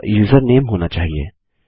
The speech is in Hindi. यह यूजरनेम होना चाहिए